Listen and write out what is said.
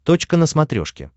точка на смотрешке